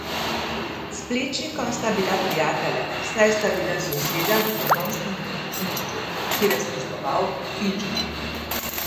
S Plečnikom sta bila prijatelja, saj sta bila soseda v trnovskem župnišču, kjer je služboval Finžgar.